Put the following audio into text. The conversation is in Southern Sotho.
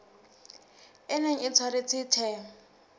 e neng e tshwaretswe the